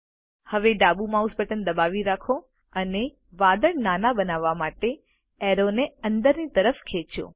હવે ડાબુ mouse button દબાવી રાખો અને વાદળ નાના બનાવવા માટે એરો ને અંદરની તરફ ખેંચો